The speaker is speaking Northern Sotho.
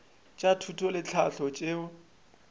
tša thuto le tlhahlo tšeo